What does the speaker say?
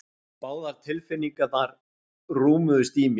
Báðar tilfinningarnar rúmuðust í mér.